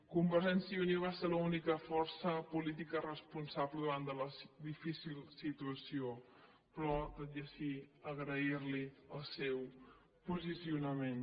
convergència i unió va ser l’única força política responsable davant de la difícil situació però tot i així agrair li el seu posicionament